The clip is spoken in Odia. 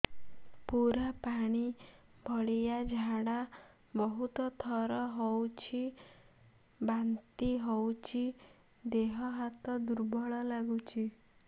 ପୁରା ପାଣି ଭଳିଆ ଝାଡା ବହୁତ ଥର ହଉଛି ବାନ୍ତି ହଉଚି ଦେହ ହାତ ଦୁର୍ବଳ ଲାଗୁଚି